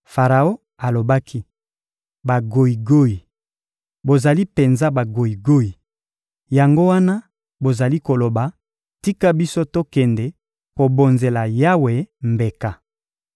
Faraon alobaki: — Bagoyigoyi! Bozali penza bagoyigoyi! Yango wana bozali koloba: «Tika biso tokende kobonzela Yawe mbeka.»